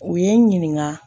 U ye n ɲininka